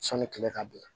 Sɔni kile ka bɛn